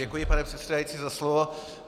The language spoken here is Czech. Děkuji, pane předsedající, za slovo.